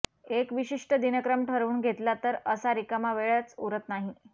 एक विशिष्ट दिनक्रम ठरवून घेतला तर असा रिकामा वेळच उरत नाही